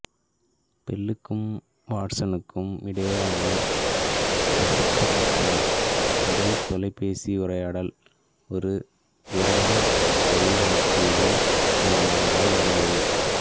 பெல்லுக்கும் வாட்சனுக்கும் இடையிலான பிரசித்தி பெற்ற முதல் தொலைபேசி உரையால் ஒரு திரவ ஒலிவாங்கியின் மூலமாக தான் நடந்தது